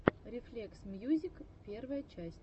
рефлексмьюзик первая часть